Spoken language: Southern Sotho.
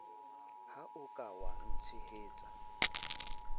ha o ka wa ntshehetsa